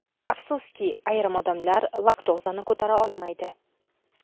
Afsuski, ayrim odamlar laktozani ko‘tara olmaydi.